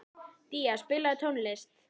Día, spilaðu tónlist.